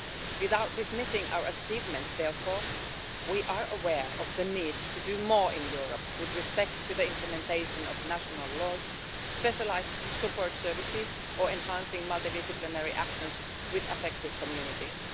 Without dismissing our achievements, therefore, we are aware of the need to do more in Europe with respect to the implementation of national laws, specialised support services, or enhancing multidisciplinary actions with affected communities.